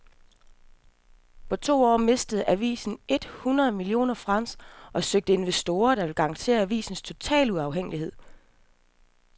På to år mistede avisen et hundrede millioner franc og søger investorer, der vil garantere avisens totale uafhængighed.